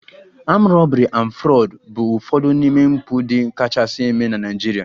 Armed robbery and Fraud bụ ụfọdụ n'ime mpụ ndị kachasị eme na Naịjirịa